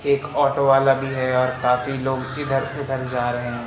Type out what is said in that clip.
एक ऑटो वाला भी है और काफी लोग इधर उधर जा रहे--